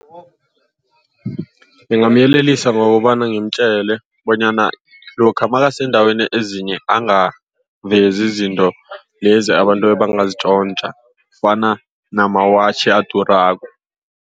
Ngingamyelelisa ngokobana ngimtjele bonyana lokha nakasendaweni ezinye. Angavezi izinto lezi abantu abangazitjontja kufana namawatjhi adurako.